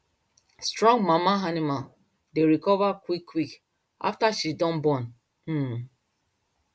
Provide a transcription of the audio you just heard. strong mama animal dey recover quick quick after she don born um